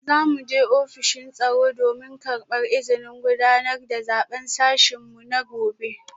Za mu je ofishin tsaro domin karbar izinin gudanar da zaben sashen mu na gobe